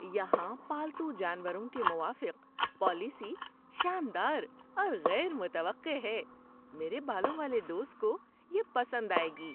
یہاں پالتو جانوروں کے موافق پالیسی شاندار اور غیر متوقع ہے – میرے بالوں والے دوست کو یہ پسند آئے گی!